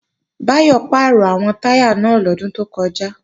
Báyọ̀ pàrọ̀ àwọn táyà náà lọ́dún tó kọjá